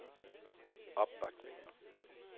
opbakning